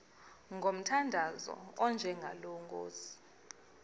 ngomthandazo onjengalo nkosi